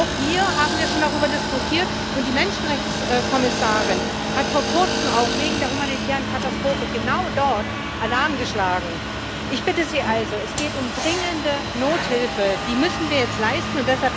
Auch hier haben wir schon darüber diskutiert, und auch die Menschenrechtskommissarin hat vor Kurzem wegen der humanitären Katastrophe genau dort Alarm geschlagen. Ich bitte Sie also Es geht um dringende Nothilfe, die müssen wir jetzt leisten!